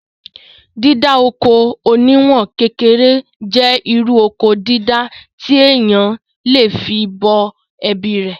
Dídá oko oníwọ̀n kékeré jẹ́ irú Oko dídá tí èèyàn le fí bọ́ ẹbí rè